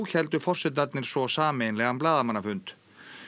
héldu forsetarnir svo sameiginlega blaðamannafund